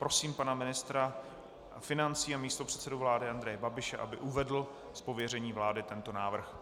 Prosím pana ministra financí a místopředsedu vlády Andreje Babiše, aby uvedl z pověření vlády tento návrh.